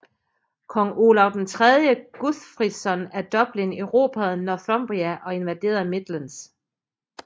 Kong Olav III Guthfridsson af Dublin erobrede Northumbria og invaderede Midlands